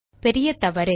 பெரிய தவறு